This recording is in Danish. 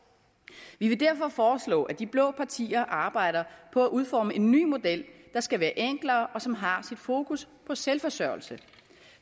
vi vil derfor foreslå at de blå partier arbejder på at udforme en ny model der skal være enklere og som har sit fokus på selvforsørgelse